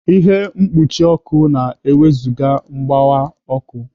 Ihe mkpuchi ọkụ na-ewezụga mgbọwa ọkụ.